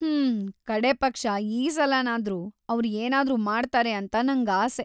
ಹ್ಮ್, ಕಡೇಪಕ್ಷ ಈ ಸಲನಾದ್ರೂ ಅವ್ರು ಏನಾದ್ರೂ ಮಾಡ್ತಾರೆ ಅಂತ ನಂಗಾಸೆ.